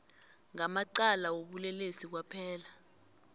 ngamacala wobulelesi kwaphela